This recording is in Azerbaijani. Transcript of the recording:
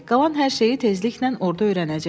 Qalan hər şeyi tezliklə orda öyrənəcəksən.